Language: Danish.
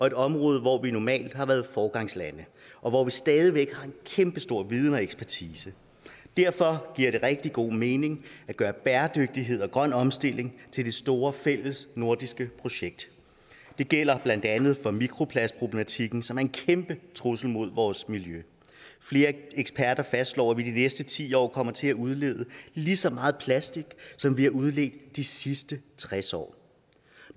et område hvor vi normalt har været foregangslande og hvor vi stadig væk har en kæmpe stor viden og ekspertise derfor giver det rigtig god mening at gøre bæredygtighed og grøn omstilling til det store fællesnordiske projekt det gælder blandt andet for mikroplastproblematikken som er en kæmpe trussel mod vores miljø flere eksperter fastslår at vi de næste ti år kommer til at udlede lige så meget plastic som vi har udledt de sidste tres år